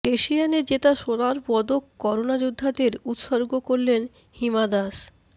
এশিয়ানে জেতা সোনার পদক করোনা যোদ্ধাদের উৎসর্গ করলেন হিমা দাস